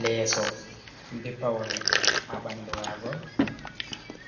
Leeso be paune ha bandu mago